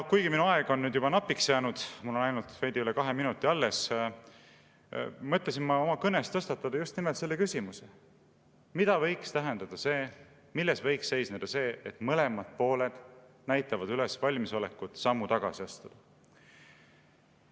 " Kuigi minu aeg on juba napiks jäänud – mul on ainult veidi üle kahe minuti alles –, mõtlesin ma oma kõnes tõstatada just nimelt selle küsimuse: mida võiks see tähendada, milles võiks see seisneda, et mõlemad pooled näitavad üles valmisolekut sammu tagasi astuda?